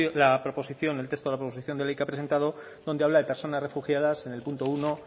la proposición el texto de la proposición de ley que ha presentado donde habla de personas refugiadas en el punto uno